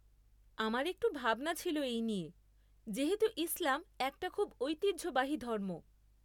আমার একটু ভাবনা ছিল এই নিয়ে যেহেতু ইসলাম একটা খুব ঐতিহ্যবাহী ধর্ম।